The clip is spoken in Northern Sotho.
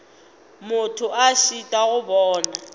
motho a šitwa go bona